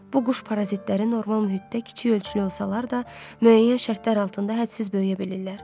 Bu quş parazitləri normal mühitdə kiçik ölçülü olsalar da, müəyyən şərtlər altında hədsiz böyüyə bilirlər.